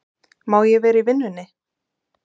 Má ég vera í vinnunni?